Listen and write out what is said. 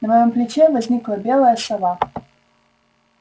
на моём плече возникла белая сова